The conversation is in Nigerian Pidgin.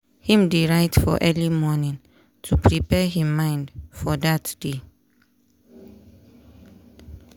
him dey write for early morning to prepare him mind for dat day.